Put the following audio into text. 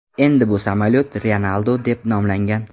Endi bu samolyot Ryanaldo deb nomlangan.